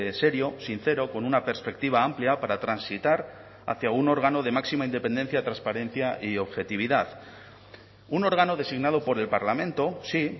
serio sincero con una perspectiva amplia para transitar hacia un órgano de máxima independencia transparencia y objetividad un órgano designado por el parlamento sí